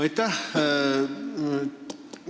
Aitäh!